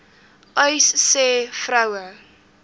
uys sê vroue